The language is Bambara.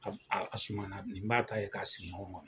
Sumana nin b'a ta ye k'a sigi ɲɔgɔn kɔnɔ